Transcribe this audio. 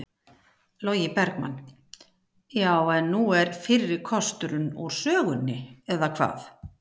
Logi Bergmann: Já, en nú er fyrri kosturinn úr sögunni eða hvað?